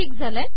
ठीक झाले